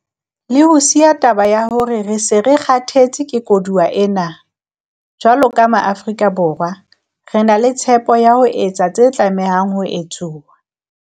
Le ho siya taba ya hore re se re 'kgathetse ke koduwa' ena, jwalo ka Maafrika Borwa, re na le tshepo ya ho etsa se tlamehang ho etswa.